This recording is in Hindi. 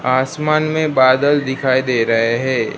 आसमान में बादल दिखाई दे रहे हैं।